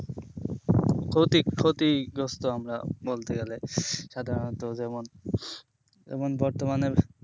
ক্ষতি ক্ষতিগ্রস্ত আমরা বলতে গেলে সাধারণতো যেমন যেমন বর্তমানের